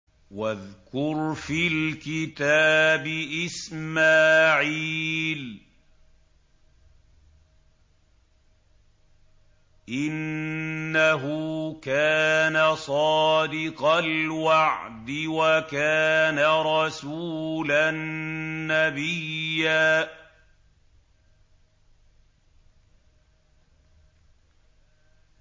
وَاذْكُرْ فِي الْكِتَابِ إِسْمَاعِيلَ ۚ إِنَّهُ كَانَ صَادِقَ الْوَعْدِ وَكَانَ رَسُولًا نَّبِيًّا